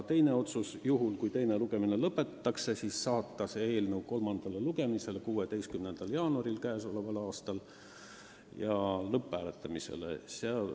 Teiseks: juhul kui teine lugemine lõpetatakse, saata eelnõu kolmandale lugemisele 16. jaanuariks k.a ja viia läbi lõpphääletus.